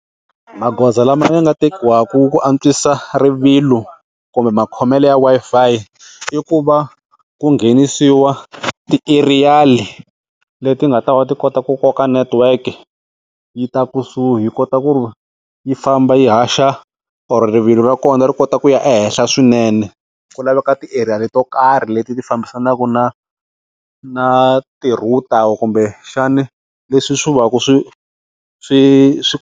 Magoza lama ya nga tekiwaka ku antswisa rivilo kumbe makhomele ya Wi-Fi ku va ku nghenisiwa ti-aerial leti nga ta va ti kota ku koka network yi ta kusuhi yi kota ku ri yi famba yi haxa or rivilo ra kona ri kota ku ya ehenhla swinene, ku laveka ti-aerial to karhi leti ti fambisanaka na na ti-router kumbe xana leswi swi va ku swi swi swi.